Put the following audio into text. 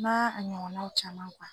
Na a ɲɔgɔnnaw caman